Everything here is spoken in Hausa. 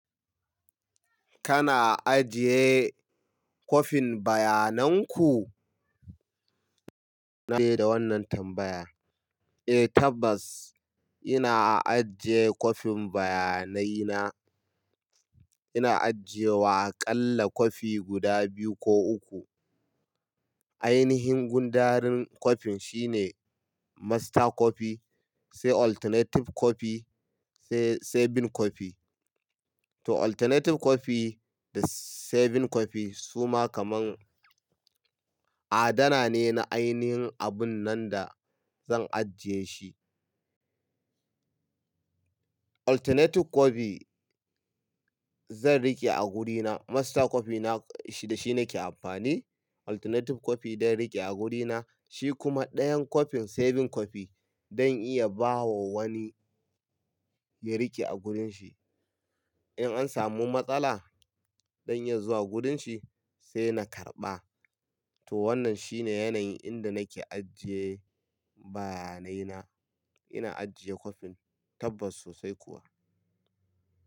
Kana ajiye kopin bayanan ku? Na fara da wannan tambaya. Eh tabbas ina ajiye kopin bayanaina. Ina ajiye wa aƙalla kofi guda biyu ko uku. Ainihin gundarin kofin shine master copy, sai alternative copy, sai saving copy. To alternative copy da saving copy suma kaman adana ne na ainihin abun nan da zan ajiye shi. Alternative copy zan riƙe a wurina. Master copy da shi nake amfani. Alternative copy zan riƙe a wurina, shi kuma ɗayan kopin saving copy zan iya bawa wani ya riƙe a wurin shi. In an samu matsala zan iya zuwa wurin shi sai na karɓa. To wannan shine yanayin inda nake ajiye bayanaina. To alternative copy da saving copy suma kaman adana ne na ainihin abun nan da zan ajiye shi.